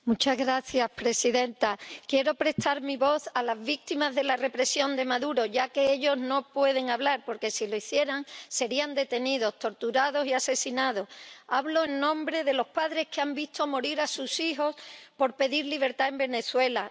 Señora presidenta, quiero prestar mi voz a las víctimas de la represión de Maduro, ya que ellas no pueden hablar porque, si lo hicieran, serían detenidas, torturadas y asesinadas. Hablo en nombre de los padres que han visto morir a sus hijos por pedir libertad en Venezuela